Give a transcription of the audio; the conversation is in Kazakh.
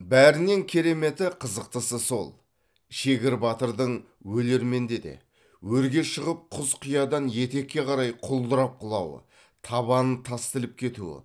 бәрінен кереметі қызықтысы сол шегір батырдың өлерменде де өрге шығып құз қиядан етекке қарай құлдырап құлауы табанын тас тіліп кетуі